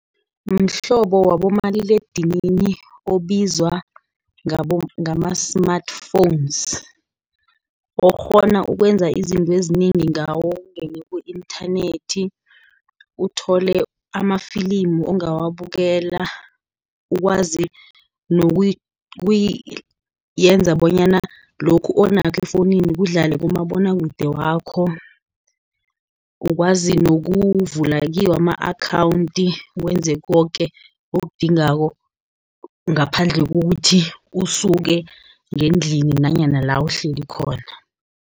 Mhlobo wabomaliledinini obizwa ngama-Smartphones, okghona ukwenza izinto ezinengi ngawo, ungena ku-inthanethi, uthole amafilimu ungawabukela. Ukwazi ukuyenza bonyana lokhu onakho efowunini kudlale kumabonwakude wakho, ukwazi nokuvula kiwo ama-akhawunti. Wenze koke okudingako ngaphandle kokuthi usuke ngendlini, nanyana la, uhleli khona.